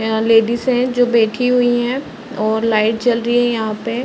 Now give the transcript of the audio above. यहाँ लेडिज है जो बैठी हुई है और लाइट जल रही है यहाँ पे(पर)।